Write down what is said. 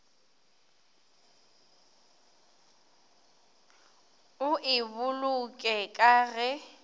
o e boloke ka ge